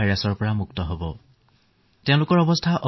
তৰুণ প্ৰজন্মৰ কাৰণে এই ৰোধ অধিক গুৰুতৰ নহয়